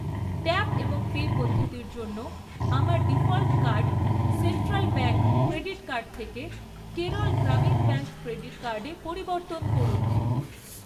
Tap এবং pay পদ্ধতির জন্য আমার default card central bank credit card থেকে কেরল গ্রামীণ ব্যাঙ্ক ক্রেডিট কার্ডে পরিবর্তন করুন।